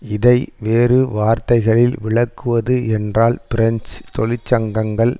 இதை வேறு வார்த்தைகளில் விளக்குவது என்றால் பிரெஞ்சு தொழிற்சங்கங்கள்